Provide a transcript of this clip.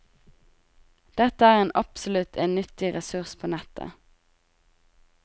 Dette er en absolutt en nyttig ressurs på nettet.